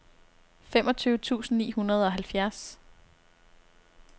femogtyve tusind ni hundrede og halvfjerds